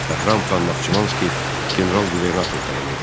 Bəhram Xan Naxçıvanski general qubernator təyin edildi.